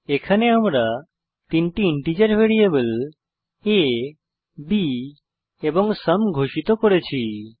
এখানে আমরা তিনটি ইন্টিজার ভ্যারিয়েবল আ b এবং সুম ঘোষিত করেছি